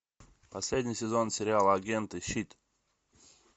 последний сезон сериала агенты щит